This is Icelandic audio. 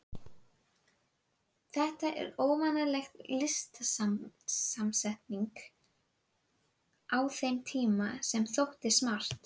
Þetta var óvanaleg litasamsetning á þeim tíma, en þótti smart.